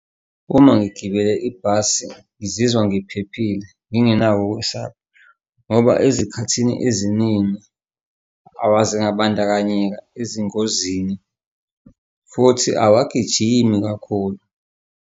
Uma ngigibela ibhasi ngizizwa ngiphephile, ngingenako ukwesaba. Ngoba ezikhathini eziningi awaze wabandakanyeka ezingozini, futhi awagijimi kakhulu.